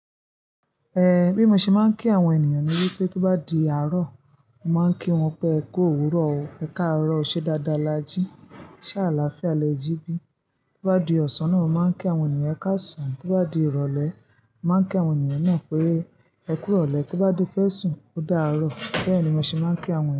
Eh, bí mo ṣe máa ń kí àwọn ènìyàn ni wípé tó bá di àárò, màá a ń kí wọn pé e kú owurò ó, ẹ káàárọ̀ o, ṣe dáadáa la jí, ṣá àlàáfíà lẹ jí bí. Tó bá di ọ̀sán náà, màá a ń kí àwọn ènìyàn ẹ kásaan tó bá di ìrọ̀lẹ́, màá a ń kí àwọn ènìyàn náà pé ẹ kú iròlẹ́, tó bá ti fẹ́ sùn, ó dáàárọ̀. Bẹ́ẹ̀ ni mo ṣe máa ń kí àwọn ènìyàn.